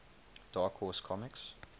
dark horse comics